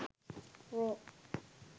raw